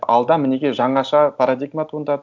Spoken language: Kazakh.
алда мінеки жаңаша парадигма туындады